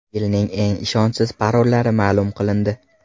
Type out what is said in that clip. Yilning eng ishonchsiz parollari ma’lum qilindi.